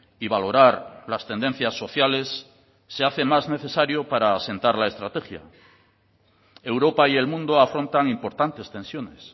y valorar las tendencias sociales se hace más necesario para asentar la estrategia europa y el mundo afrontan importantes tensiones